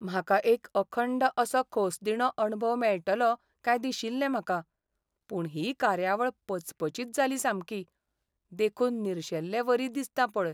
म्हाका एक अखंड असो खोसदिणो अणभव मेळटलो काय दिशिल्लें म्हाका, पूण ही कार्यावळ पचपचीत जाली सामकी, देखून निर्शेल्लेवरी दिसता पळय.